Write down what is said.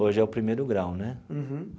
Hoje é o primeiro grau, né? Uhum.